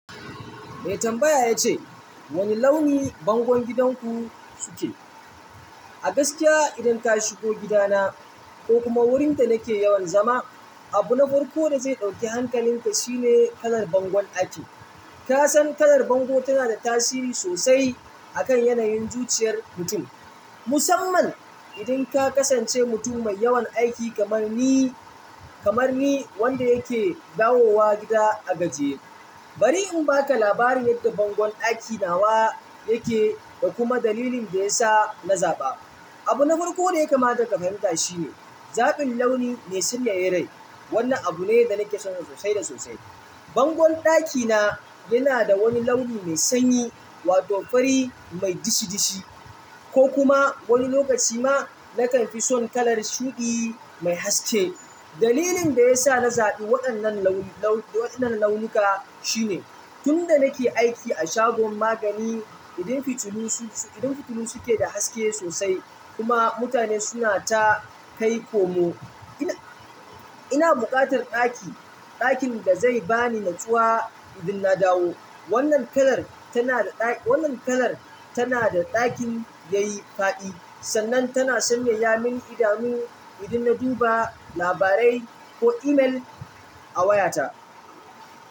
Mai tambaya ya ce, wane launi bangon gidanku suke? A gaskiya idan ka shigo gidana ko kuma wurin da nake yawan zama, abu na farko da zai ɗauki hankalinka shine kalar bangon ɗakin. Ka san kalar bango tana da tasiri sosai a kan yanayin zuciyar mutum, musamman idan ka kasance mutum mai yawan aiki kamar ni, kamar ni wanda yake dawowa gida a gajiye. Bari in ba ka labari yadda bangon ɗaki nawa yake da kuma dalilin da ya sa na zaɓa. Abu na farko da ya kamata ka fahimta shine zaɓin launi mai sanyaya rai. Wannan abu ne da nake son shi sosai da sosai. Bangon ɗakina yana da wani launi mai sanyi wato fari mai dishi dishi ko kuma wani lokaci ma na kan fi son kalar shuɗi mai haske. Dalilin da ya sa na zaɓi waɗannan launuka shine tun da nake aiki a shagon magani, idan fitilu suke da haske sosai kuma mutane suna ta kai komo, ina buƙatar ɗakin da zai bani natsuwa idan na dawo. Wannan kalar wannan kalar tana da ɗakin yayi faɗi sannan tana sanyaya mini idanu idan na duba labarai ko email a wayata.